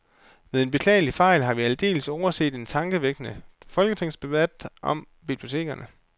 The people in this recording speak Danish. Ved en beklagelig fejl har vi aldeles overset en tankevækkende folketingsdebat om bibliotekerne.